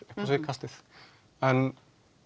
upp á síðkastið en